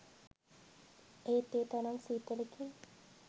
ඒත් ඒ තරම් සීතලකින්